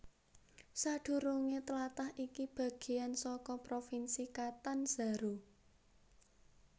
Sadurungé tlatah iki bagéan saka Provinsi Catanzaro